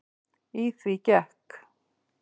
Í því gekk